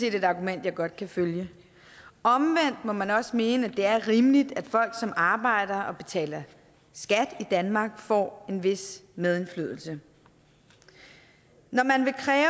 et argument jeg godt kan følge omvendt må man også mene at det er rimeligt at folk som arbejder og betaler skat i danmark får en vis medindflydelse når man vil kræve